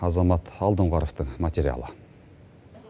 азамат алдоңғаровтың материалы